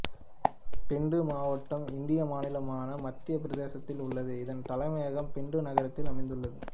பிண்டு மாவட்டம் இந்திய மாநிலமான மத்தியப் பிரதேசத்தில் உள்ளது இதன் தலைமையகம் பிண்டு நகரத்தில் அமைந்துள்ளது